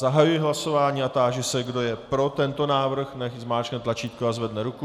Zahajuji hlasování a táži se, kdo je pro tento návrh, nechť zmáčkne tlačítko a zvedne ruku.